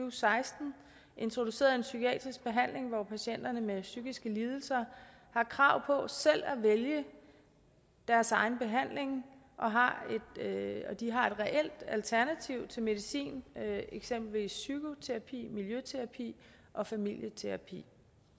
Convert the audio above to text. og seksten introduceret en psykiatrisk behandling hvor patienter med psykiske lidelser har krav på selv at vælge deres egen behandling de har et reelt alternativ til medicin eksempelvis psykoterapi miljøterapi og familieterapi